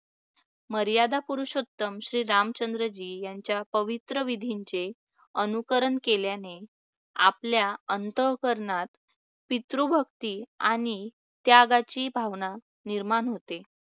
मर्यादा पुरुषोत्तम श्री रामचंद्रजी यांच्या पवित्र विधींचे अनुकरण केल्याने आपल्या अंतःकरणात पितृभक्ती आणि त्यागाची भावना निर्माण होते.